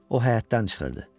O həyətdən çıxırdı.